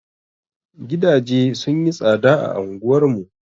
Gidaje sun yi tsaɗa a anguwar mu.